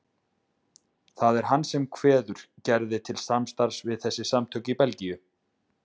Það er hann sem kveður Gerði til samstarfs við þessi samtök í Belgíu.